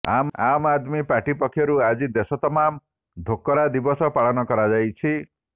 ଆମ୍ ଆଦମୀ ପାର୍ଟି ପକ୍ଷରୁ ଆଜି ଦେଶ ତମାମ୍୍ ଧୋକରା ଦିବସ ପାଳନ କରାଯାଇଛି